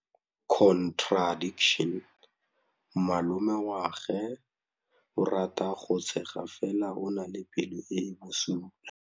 Malomagwe o rata go tshega fela o na le pelo e e bosula.